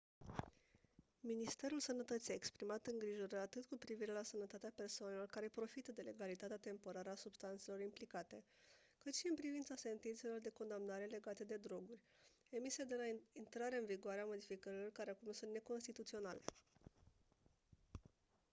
ministrul sănătății a exprimat îngrijorări atât cu privire la sănătatea persoanelor care profită de legalitatea temporară a substanțelor implicate cât și în privința sentințelor de condamnare legate de droguri emise de la intrarea în vigoare a modificărilor care acum sunt neconstituționale